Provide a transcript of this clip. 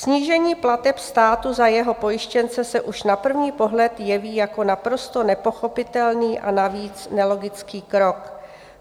"Snížení plateb státu za jeho pojištěnce se už na první pohled jeví jako naprosto nepochopitelný a navíc nelogický krok.